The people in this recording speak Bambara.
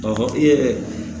Ɔ i yɛrɛ